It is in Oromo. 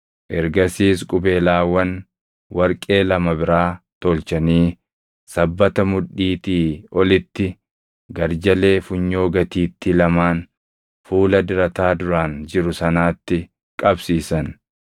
Ergasiis qubeelaawwan warqee lama biraa tolchanii sabbata mudhiitii olitti garjalee funyoo gatiittii lamaan, fuula dirataa duraan jiru sanaatti qabsiisan.